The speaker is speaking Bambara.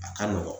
A ka nɔgɔn